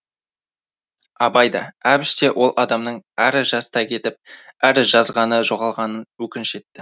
абай да әбіш те ол адамның әрі жастай кетіп әрі жазғаны жоғалғанын өкініш етті